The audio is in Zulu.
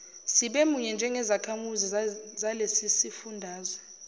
sibemunye njengezakhamizi zalesisifundazwe